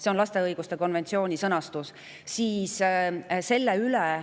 See on lapse õiguste konventsiooni sõnastus.